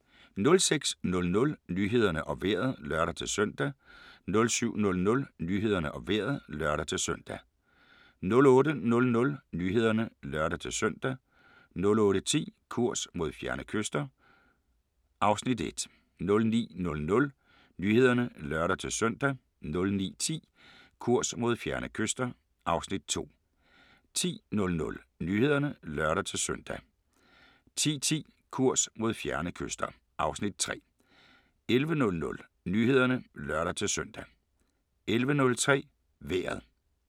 06:00: Nyhederne og Vejret (lør-søn) 07:00: Nyhederne og Vejret (lør-søn) 08:00: Nyhederne (lør-søn) 08:10: Kurs mod fjerne kyster (Afs. 1) 09:00: Nyhederne (lør-søn) 09:10: Kurs mod fjerne kyster (Afs. 2) 10:00: Nyhederne (lør-søn) 10:10: Kurs mod fjerne kyster (Afs. 3) 11:00: Nyhederne (lør-søn) 11:03: Vejret